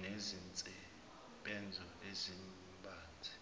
nezinsebenzo ezibanzi